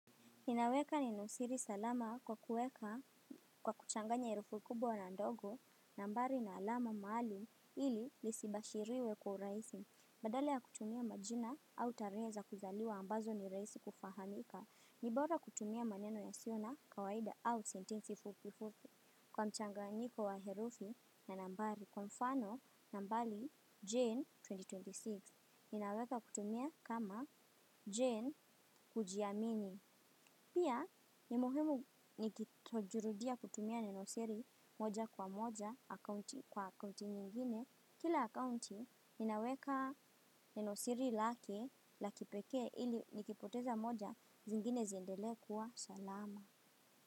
Ninaweka neno siri salama kwa kuweka kwa kuchanganya herufu kubwa na ndogo nambari na alama maalum ili lisibashiriwe kwa urahisi. Badala ya kutumia majina au tarehe za kuzaliwa ambazo ni rahisi kufahamika. Ni bora kutumia maneno yasiyo na kawaida au sentensi fupi fupi kwa mchanganyiko wa herufi na nambari kwa mfano nambari Jane elfu mbili na ishirini na sita. Ninaweka kutumia kama Jane kujiamini. Pia ni muhimu nikitojirudia kutumia neno siri moja kwa moja kwa akounti nyingine. Kila akounti ninaweka neno siri lake la kipeke ili nikipoteza moja zingine ziendelee kuwa salama.